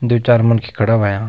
दुई चार मनखी खड़ा होयां।